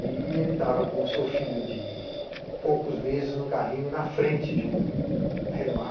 E ele estava com o seu filho de poucos meses no carrinho, na frente de um Renoir.